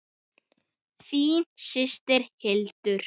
Þín systir, Hildur.